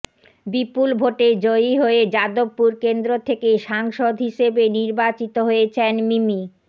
বিপপল ভোটে জয়ী হয়ে যাদবপুর কেন্দ্র থেকে সাংসদ হিসেবে নির্বাচিত হয়েছেন মিমি